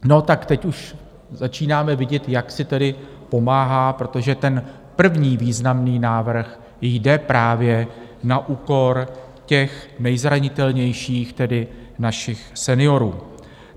No tak teď už začínáme vidět, jak si tedy pomáhá, protože ten první významný návrh jde právě na úkor těch nejzranitelnějších, tedy našich seniorů.